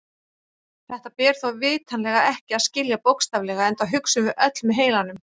Þetta ber þó vitanlega ekki að skilja bókstaflega enda hugsum við öll með heilanum.